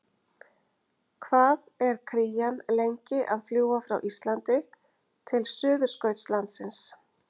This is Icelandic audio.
Hvað er krían lengi að fljúga frá Íslandi til Suðurskautslandsins?